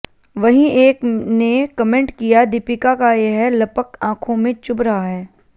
वहीं एक ने कमेंट किया दीपिका का यह लपक आंखों में चुभ रहा है